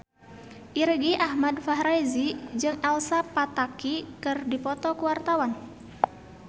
Irgi Ahmad Fahrezi jeung Elsa Pataky keur dipoto ku wartawan